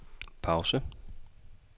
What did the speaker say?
pause